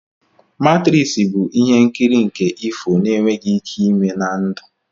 Matrisi bụ ihe nkiri nke ifo n'enweghị ike ime na ndụ